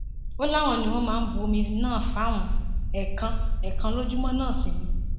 ó láwọn ni wọn máa bu omi náà fáwọn ẹẹkan ẹẹkan lójúmọ náà sí ni